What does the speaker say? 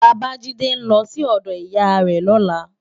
Babajide n lò si òdò iyá rè lòlá